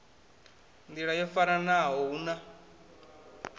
nḓila yo faranaho hu na